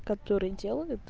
которые делают